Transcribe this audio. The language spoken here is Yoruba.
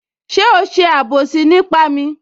Ṣé o ṣe àbòsí nípa mi?